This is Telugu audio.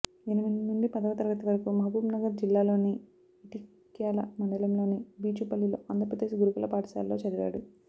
ఎనిమిది నుండి పదవ తరగతి వరకు మహబూబ్ నగర్ జిల్లాలోని ఇటిక్యాల మండలంలోని బీచుపల్లిలోని ఆంధ్రప్రదేశ్ గురుకుల పాఠశాలలో చదివాడు